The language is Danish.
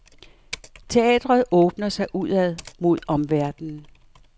Teatret åbner sig udad mod omverdenen.